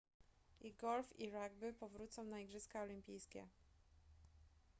i golf i rugby powrócą na igrzyska olimpijskie